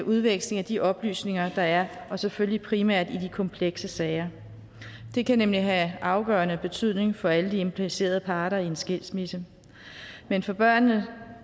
udveksling af de oplysninger der er og selvfølgelig primært i de komplekse sager det kan nemlig have afgørende betydning for alle de implicerede parter i en skilsmisse men for børnene